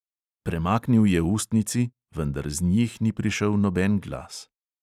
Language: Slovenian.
Premaknil je ustnici, vendar z njih ni prišel noben glas.